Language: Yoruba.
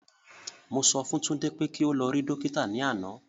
Mo sọ fún Tunde pé kí o lọ rí Dókítà ní àná